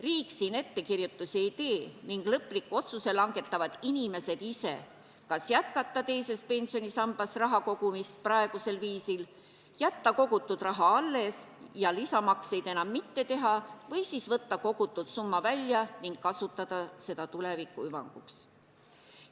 Riik siin ettekirjutusi ei tee ning lõpliku otsuse langetavad inimesed ise, kas jätkata teises pensionisambas raha kogumist praegusel viisil, jätta kogutud raha alles ja lisamakseid enam mitte teha või siis võtta kogutud summa välja ning kasutada seda tuleviku hüvanguks.